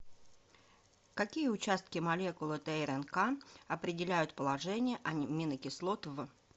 какие участки молекулы трнк определяют положение аминокислот в